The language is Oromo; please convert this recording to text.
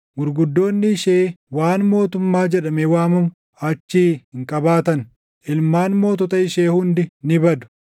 Gurguddoonni ishee waan mootummaa jedhamee waamamu // achii hin qabaatan; ilmaan mootota ishee hundi ni badu.